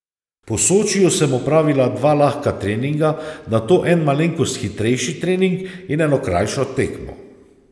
Po Sočiju sem opravila dva lahka treninga, nato en malenkost hitrejši trening in eno krajšo tekmo.